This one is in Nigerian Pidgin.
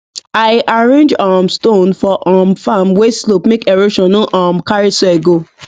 i arrange um stone for um farm wey slope make erosion no um carry soil go